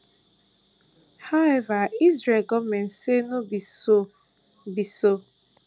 however israel goment say no be so be so